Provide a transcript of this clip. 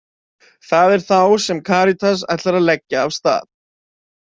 Það er þá sem Karítas ætlar að leggja af stað.